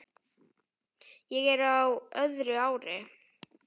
Ég er á öðru ári.